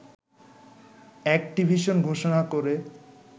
Activision ঘোষণা করে